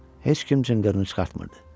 Heç kim cınqırını çıxartmırdı.